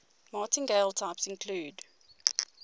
martingale types include